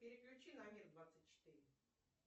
переключи на мир двадцать четыре